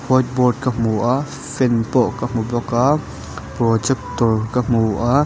whiteboard ka hmu a fan pawh ka hmu bawk a projector ka hmu a.